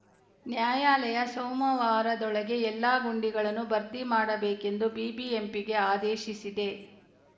ನ್ಯಾಯಾಲಯ ಸೋಮವಾರದೊಳಗೆ ಎಲ್ಲ ಗುಂಡಿಗಳನ್ನು ಭರ್ತಿ ಮಾಡಬೇಕೆಂದು ಬಿಬಿಎಂಪಿಗೆ ಆದೇಶಿಸಿದೆ